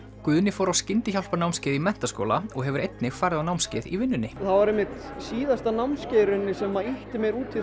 Guðni fór á skyndihjálparnámskeið í menntaskóla og hefur einnig farið á námskeið í vinnunni það var einmitt síðasta námskeið sem ýtti mér út í